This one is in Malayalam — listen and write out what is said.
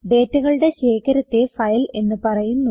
ഡേറ്റകളുടെ ശേഖരത്തെ ഫയൽ എന്ന് പറയുന്നു